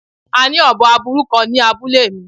A ni obo aburu kan ni abule mi